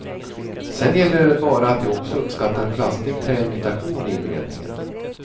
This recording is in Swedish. Sen gäller det bara att de också uppskattar plastig träimitation i inredningen.